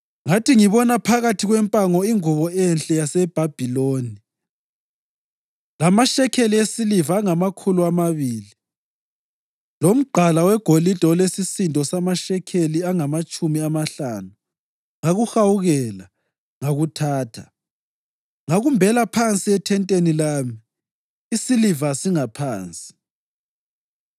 Ngathi ngibona phakathi kwempango ingubo enhle yaseBhabhiloni, lamashekeli esiliva angamakhulu amabili lomgqala wegolide olesisindo samashekeli angamatshumi amahlanu ngakuhawukela, ngakuthatha. Ngakumbela phansi ethenteni lami, isiliva singaphansi.”